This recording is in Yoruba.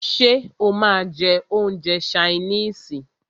Ṣé o máà ń jẹ́ oúnjẹ ṣaínìisì?